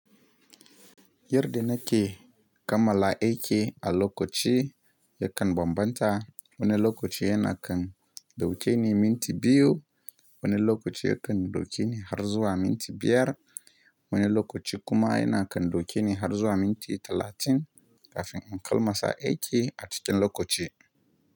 Yar da na ke, kammala aiki a lokaci ya kan bambanta. Wani lokaci yana kan dauke ni minti biyu, wani lokaci ya kan dauke ni har zuwa minti biyar, wani lokaci kuma yana kan dauke ni har zuwa minti talatin kafin in kalma sa aiki a cikin lokaci.